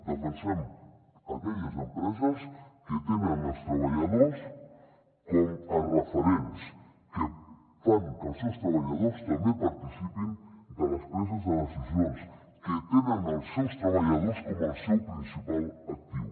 defensem aquelles empreses que tenen els treballadors com a referents que fan que els seus treballadors també participin de les preses de decisions que tenen els seus treballadors com el seu principal actiu